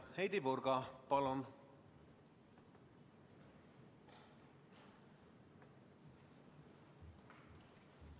Heidy Purga, palun!